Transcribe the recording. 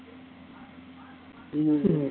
உம்